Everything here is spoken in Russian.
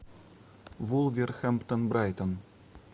вулверхэмптон брайтон